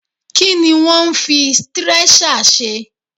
Kí ni wọ́n ń fi stírẹ́ṣà ṣe?